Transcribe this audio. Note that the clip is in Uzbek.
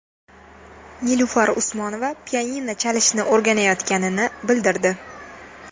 Nilufar Usmonova pianino chalishni o‘rganayotganini bildirdi.